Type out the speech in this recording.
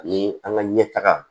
Ee an ka ɲɛtaga